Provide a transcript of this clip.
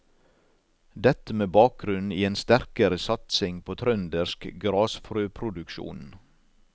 Dette med bakgrunn i en sterkere satsing på trøndersk grasfrøproduksjon.